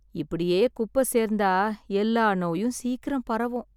இப்படியே குப்ப சேர்ந்தா எல்லா நோயும் சீக்கிரம் பரவும்.